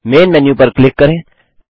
man menu पर click करें